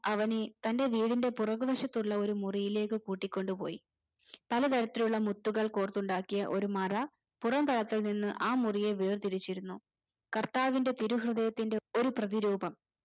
അവന് തന്റെ വീടിന്റെ പുറകു വശത്തുള്ള ഒരു മുറീലേക് കൂടി കൊണ്ട് പോയി പല തരത്തിലുള്ള മുത്തുകൾ കോർത്തുണ്ടാക്കിയ ഒരു മറ പുറം തലത്തിൽ നിന്ന് ആ മുറിയെ വേർതിരിച്ചിരുന്നു കർത്താവിന്റെ തിരു ഹൃദയത്തിന്റെ ഒരു പ്രതി രൂപം